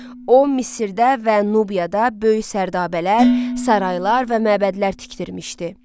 O, Misirdə və Nubiyada böyük sərdabələr, saraylar və məbədlər tikdirmişdi.